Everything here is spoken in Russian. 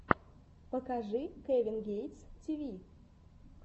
покажи кевин гейтс ти ви